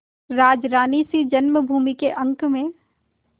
राजरानीसी जन्मभूमि के अंक में